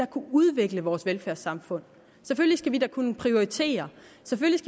kunne udvikle vores velfærdssamfund og selvfølgelig skal vi kunne prioritere